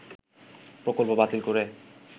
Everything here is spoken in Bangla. প্রকল্প বাতিল করে